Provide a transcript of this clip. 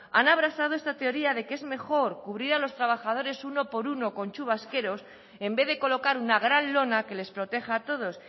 han abrazado esta teoría de que es mejor cubrir a los trabajadores uno por uno con chubasqueros en vez de colocar una gran lona que les proteja a todos